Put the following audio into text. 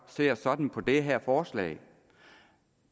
ser sådan på det her forslag